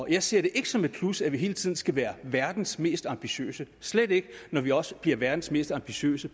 jeg ser det ikke som et plus at vi hele tiden skal være verdens mest ambitiøse slet ikke når vi også bliver verdens mest ambitiøse